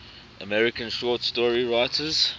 american short story writers